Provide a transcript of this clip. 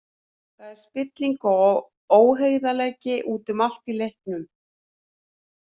Það er spilling og óheiðarleiki út um allt í leiknum.